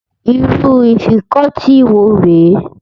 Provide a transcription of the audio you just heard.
Irú Afikọ́tí wo rè é?